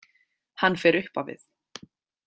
Hann fer upp á við.